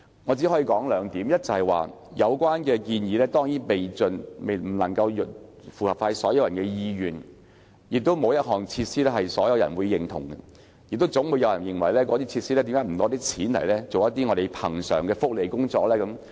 我只想提出兩點，第一，有關建議當然不能符合所有人的意願，而且事實上，沒有一項設施能夠取得所有人的認同，總會有人問為何不把興建設施的錢，推行恆常的福利工作。